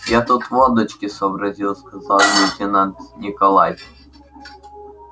я тут водочки сообразил сказал лейтенант николай